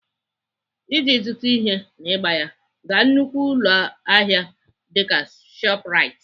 Iji zụta ihe n'ịgba ya, gaa nnukwu ụlọahịa dịka Shoprite.